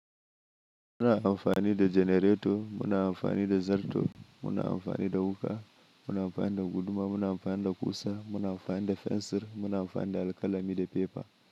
Muna amfani da janareto, muna amfani da zarto, muna amfani da wuka, muna amfani da guduma, muna amfani da ƙusa, muna amfani da fensir, muna amfani da alƙalami da fefa.